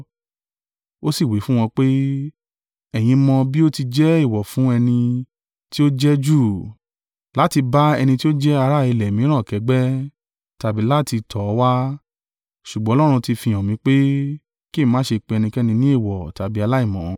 Ó sì wí fún wọn pé, “Ẹ̀yin mọ̀ bí ó ti jẹ́ èèwọ̀ fún ẹni tí ó jẹ́ Júù, láti bá ẹni tí ó jẹ́ ará ilẹ̀ mìíràn kẹ́gbẹ́, tàbí láti tọ̀ ọ́ wá; ṣùgbọ́n Ọlọ́run ti fihàn mi pé, ki èmi má ṣe pé ẹnikẹ́ni ni èèwọ̀ tàbí aláìmọ́.